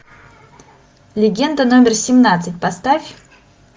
легенда номер семнадцать поставь